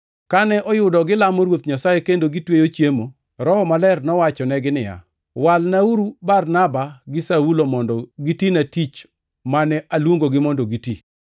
Kane oyudo gilamo Ruoth Nyasaye kendo gitweyo chiemo, Roho Maler nowachonegi niya, “Walnauru Barnaba gi Saulo mondo gitina tich mane aluongogi mondo giti.”